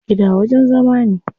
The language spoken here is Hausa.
Gida wajen zama ne.